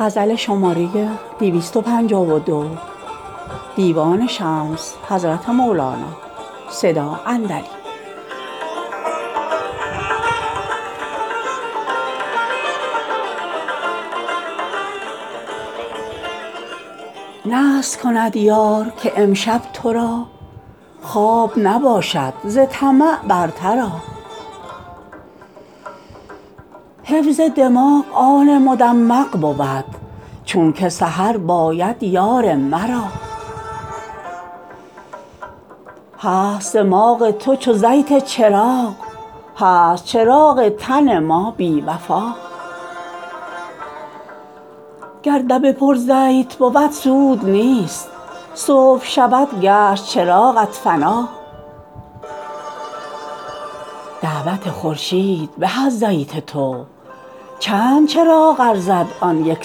نذر کند یار که امشب تو را خواب نباشد ز طمع برتر آ حفظ دماغ آن مدمغ بود چونک سهر باید یار مرا هست دماغ تو چو زیت چراغ هست چراغ تن ما بی وفا گر دبه پر زیت بود سود نیست صبح شود گشت چراغت فنا دعوت خورشید به از زیت تو چند چراغ ارزد آن یک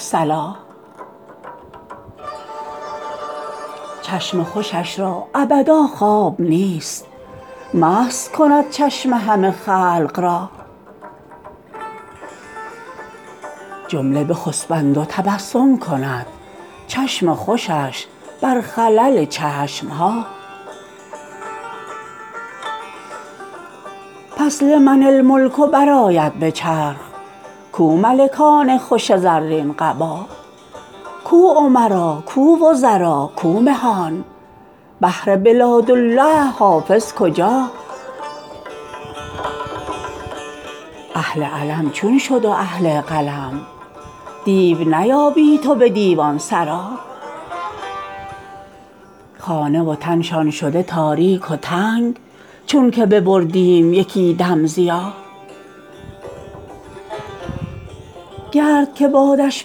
صلا چشم خوشش را ابدا خواب نیست مست کند چشم همه خلق را جمله بخسپند و تبسم کند چشم خوشش بر خلل چشم ها پس لمن الملک برآید به چرخ کو ملکان خوش زرین قبا کو امرا کو وزرا کو مهان بهر بلادالله حافظ کجا اهل علم چون شد و اهل قلم دیو نیابی تو به دیوان سرا خانه و تنشان شده تاریک و تنگ چونک ببردیم یکی دم ضیا گرد که بادش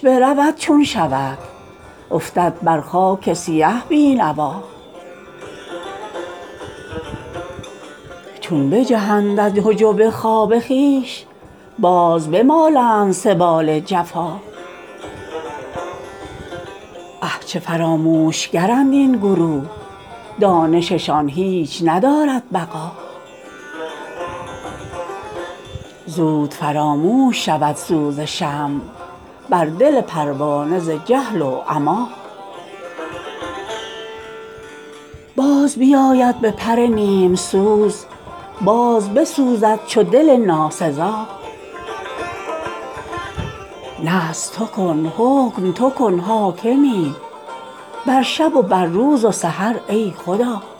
برود چون شود افتد بر خاک سیه بی نوا چون بجهند از حجب خواب خویش باز بمالند سبال جفا اه چه فراموش گرند این گروه دانششان هیچ ندارد بقا زود فراموش شود سوز شمع بر دل پروانه ز جهل و عما باز بیاید به پر نیم سوز باز بسوزد چو دل ناسزا نذر تو کن حکم تو کن حاکمی بر شب و بر روز و سحر ای خدا